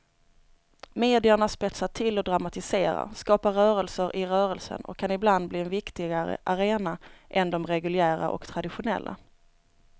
Medierna spetsar till och dramatiserar, skapar rörelser i rörelsen och kan ibland bli en viktigare arena än de reguljära och traditionella.